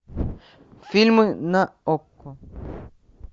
фильмы на окко